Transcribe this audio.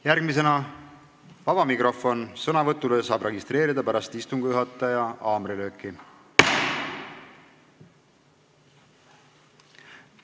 Järgmisena vaba mikrofon, sõnavõtuks saab registreeruda pärast istungi juhataja haamrilööki.